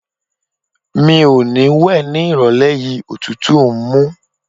Mi ò ní wẹ̀ ní ìrọ̀lẹ́ yìí, òtútù ń mú.